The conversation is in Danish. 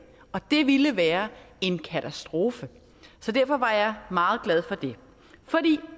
og det ville være en katastrofe så derfor var jeg meget glad